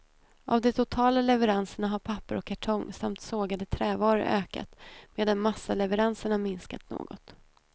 Av de totala leveranserna har papper och kartong samt sågade trävaror ökat medan massaleveranserna minskat något.